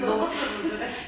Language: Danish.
Hvorfor flyttede du der?